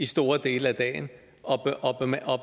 stor del af dagen